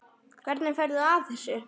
Hvernig ferðu að þessu?